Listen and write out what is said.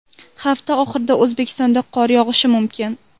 Hafta oxirida O‘zbekistonda qor yog‘ishi mumkin.